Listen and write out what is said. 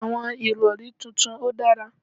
Àwọn ìrọ̀rí tuntun ò dára